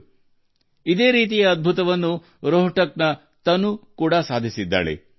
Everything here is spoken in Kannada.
ರೋಹ್ಟಕ್ನ ತನು ಇದೇ ರೀತಿಯ ಪವಾಡವನ್ನು ಮೆರೆದಿದ್ದಾರೆ